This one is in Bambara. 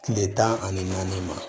Kile tan ani naani ma